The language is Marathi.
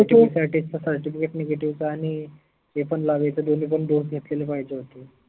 certificatenegative चा आनि लावायच दोन्ही पन dose घेतलेले पाहिजे होते.